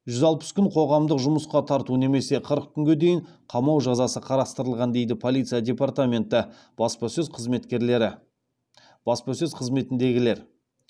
жүз алпыс күн қоғамдық жұмысқа тарту немесе қырық күнге дейін қамау жазасы қарастырылған дейді полиция департаменті баспасөз қызметіндегілер